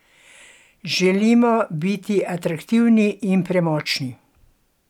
Želimo biti atraktivni in premočni.